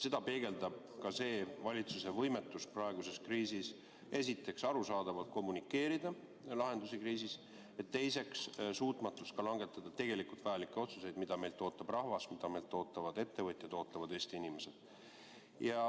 Seda peegeldab ka valitsuse võimetus praeguses kriisis esiteks, arusaadavalt kommunikeerida lahendusi kriisis ja teiseks, langetada vajalikke otsuseid, mida meilt ootab rahvas, mida meilt ootavad ettevõtjad, ootavad Eesti inimesed.